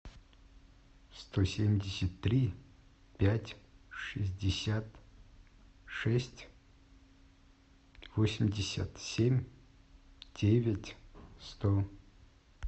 сто семьдесят три пять шестьдесят шесть восемьдесят семь девять сто